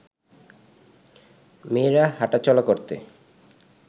মেয়েরা হাঁটা চলা করতে